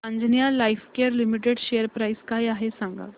Anjaneya Lifecare Limited share price काय आहे सांगा